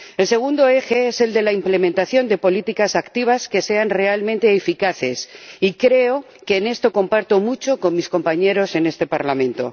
El segundo eje es el de la implementación de políticas activas que sean realmente eficaces, y creo que en esto comparto mucho con mis compañeros en este Parlamento.